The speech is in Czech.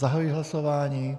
Zahajuji hlasování.